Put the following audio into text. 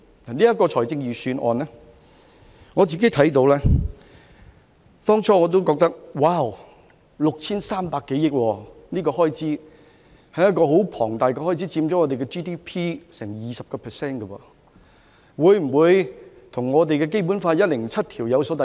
對於這次的預算案，我當初看到也譁然 ，6,300 多億元是很龐大的開支，佔香港 GDP 多達 20%， 會否與《基本法》第一百零七條有所抵觸？